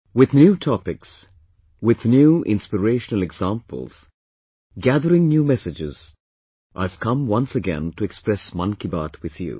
With new topics, with new inspirational examples, gathering new messages, I have come once again to express 'Mann Ki Baat' with you